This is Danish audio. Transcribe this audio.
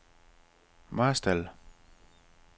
Marstal